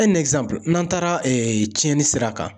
n'an taara tiɲɛni sira kan.